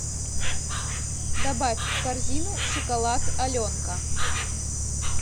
добавь в корзину шоколад аленка